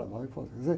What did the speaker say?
Lá vai o, quer dizer